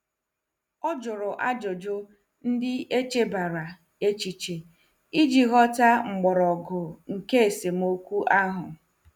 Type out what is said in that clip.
O jụrụ ajụjụ ndị echebara echiche iji ghọta mgbọrọgwụ nke esemokwu ahụ.